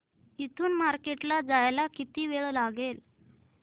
इथून मार्केट ला जायला किती वेळ लागेल